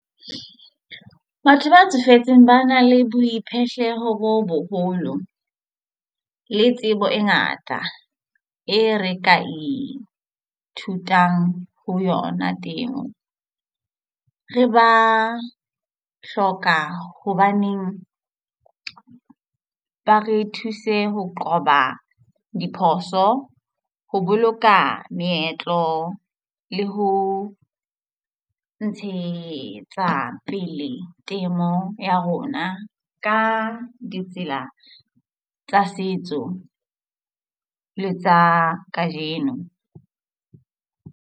Batho ba tsofetseng ba na le boiphihlelo bo boholo le tsebo e ngata e re ka ithutang ho yona teng re ba hloka hobaneng ba re thuse ho qoba diphoso, ho boloka meetlo le ho ntshetsa pele temo ya rona ka ditsela tsa setso le tsa kajeno.